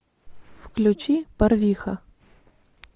включи барвиха